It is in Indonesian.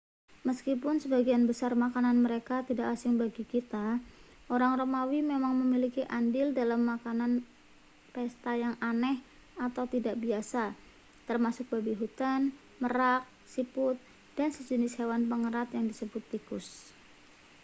meskipun sebagian besar makanan mereka tidak asing bagi kita orang romawi memang memiliki andil dalam makanan pesta yang aneh atau tidak biasa termasuk babi hutan merak siput dan sejenis hewan pengerat yang disebut tikus